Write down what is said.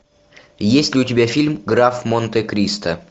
есть ли у тебя фильм граф монте кристо